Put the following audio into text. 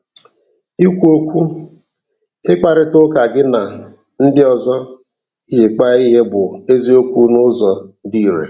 Ikwu okwu - Ịkparịta ụka gị na ndị ọzọ iji kpaa ihe bụ eziokwu n'ụzọ dị irè.